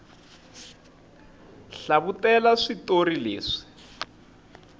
hlavutela switori leswi